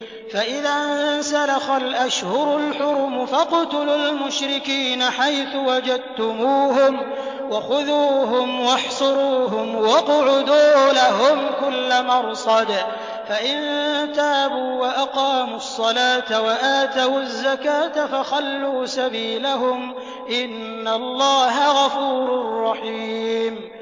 فَإِذَا انسَلَخَ الْأَشْهُرُ الْحُرُمُ فَاقْتُلُوا الْمُشْرِكِينَ حَيْثُ وَجَدتُّمُوهُمْ وَخُذُوهُمْ وَاحْصُرُوهُمْ وَاقْعُدُوا لَهُمْ كُلَّ مَرْصَدٍ ۚ فَإِن تَابُوا وَأَقَامُوا الصَّلَاةَ وَآتَوُا الزَّكَاةَ فَخَلُّوا سَبِيلَهُمْ ۚ إِنَّ اللَّهَ غَفُورٌ رَّحِيمٌ